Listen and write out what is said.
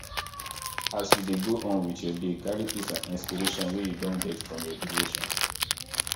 as you dey go on with your day carry peace and inspiration wey you don get from your devotion